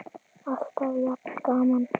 Alltaf jafn gaman!